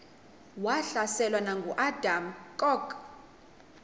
wahlaselwa nanguadam kok